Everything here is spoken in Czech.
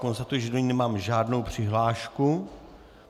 Konstatuji, že do ní nemám žádnou přihlášku.